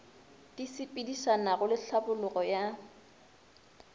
di sepedišanago le tlhabologo ya